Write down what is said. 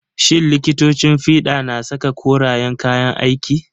Shin likitocin fiɗa na saka korayen kayan aiki?